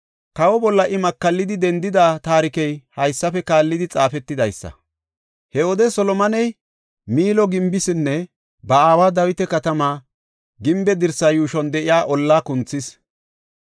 Kawa bolla I makallidi dendida taarikey haysafe kaallidi xaafetidaysa. He wode Solomoney Miilo gimbeesinne ba aawa Dawita katamaa gimbe dirsaa yuushuwan de7iya ollaa kunthees.